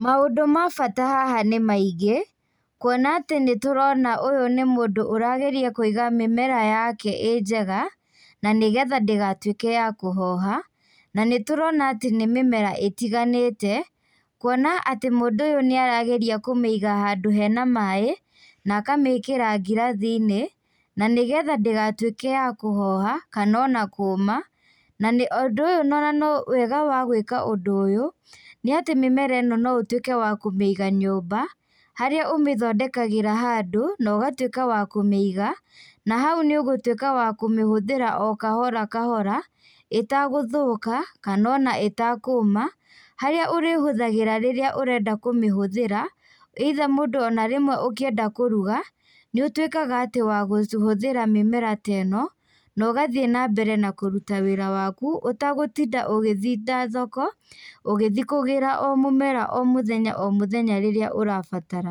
Maũndũ ma bata haha nĩ maingĩ. Kuona atĩ nĩtũrona ũyũ nĩ mũndũ ũrageria kũiga mĩmera yake ĩ njega, na nĩgetha ndĩgatuĩke ya kũhoha. Na nĩ tũrona atĩ nĩ mĩmera ĩtiganĩte. Kuona atĩ mũndũ ũyũ nĩ arageria kũiga handũ hena maaĩ, na akamĩkĩra ngirathi-inĩ, na nĩgetha ndĩgatuĩke ya kũhoha, kana ona kũũma. Na ũndũ ũyũ, wega wa gũĩka ũndũ ũyũ, nĩ atĩ mĩmera ĩno no ũtuĩke wa kũmĩiga nyũmba, harĩa ũmĩthondekagĩra handũ, na ũgatuĩka wa kũmĩiga. Nahau nĩ ũgũtuĩka wa kũmĩhuthĩra o kahora kahora, ĩtagũthũka, kana ona ĩtakũũma, harĩa ũrĩmĩhũthagĩra rĩrĩa ũrenda kũmĩhũthĩra, either mũndũ onarĩmwe, ũkĩenda kũruga, nĩ ũtuĩkaga wakũhũthagĩra mĩmera teno, nogathiĩ nambere na kũruta wĩra waku ũtagũtinda ũgĩthinda thoko, ũgĩthi kũgĩra o mũmera o mũthenya o mũthenya rĩrĩa ũrabatara.